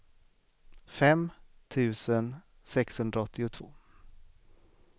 fem tusen sexhundraåttiotvå